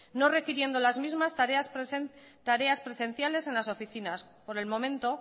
no requiriendo las mismas tareas presenciales en las oficinas por el momento